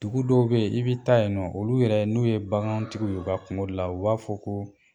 Dugu dɔw be yen i bi taa yen nɔ, olu yɛrɛ n'u ye bagantigiw ye u ka kungo da la u b'a fɔ ko